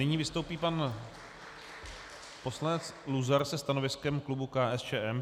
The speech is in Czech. Nyní vystoupí pan poslanec Luzar se stanoviskem klubu KSČM.